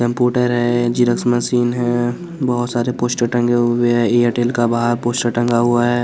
Computer है xerox machine है बहोत सारे पोस्टर टंगे हुए एयरटेल का बाहर पोस्टर टंगा हुआ है।